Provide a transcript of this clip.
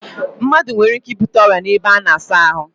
Mmadu nwere ike ibute oria n'ebe a na-asa ahu